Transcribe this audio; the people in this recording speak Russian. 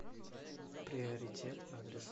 приоритет адрес